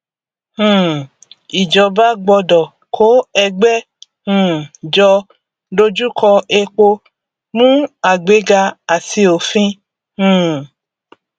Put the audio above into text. um ìjọba gbọdọ kó ẹgbẹ um jọ dojú kọ epo mú àgbéga àti òfin um